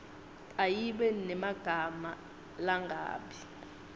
ayibe nemagama langabi